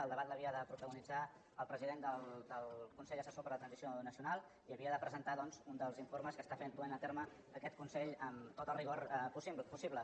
el debat l’havia de protagonitzar el president del consell assessor per la transició nacional i havia de presentar doncs un dels informes que està duent a terme aquest consell amb tot el rigor possible